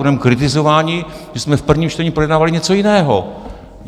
Budeme kritizováni, že jsme v prvním čtení projednávali něco jiného.